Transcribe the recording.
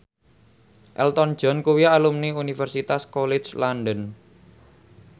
Elton John kuwi alumni Universitas College London